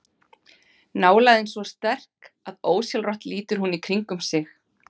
Nálægðin svo sterk að ósjálfrátt lítur hún í kringum sig.